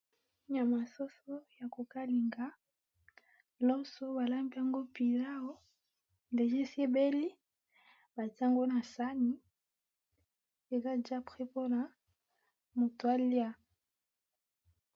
Nyama ya soso yako kalinga loso balambi yango pilau déjà esi ebeli batye yango na saani déjà eza prêt po mutu alya.